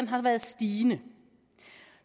har været stigende